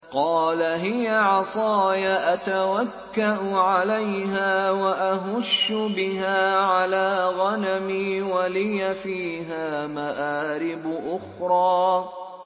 قَالَ هِيَ عَصَايَ أَتَوَكَّأُ عَلَيْهَا وَأَهُشُّ بِهَا عَلَىٰ غَنَمِي وَلِيَ فِيهَا مَآرِبُ أُخْرَىٰ